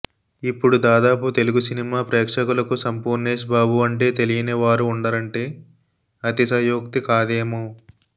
ఇప్పుడు దాదాపు తెలుగు సినిమా ప్రేక్షకులకు సంపూర్నేష్ బాబు అంటే తెలియని వారు ఉండరంటే అతిశయోక్తి కాదేమో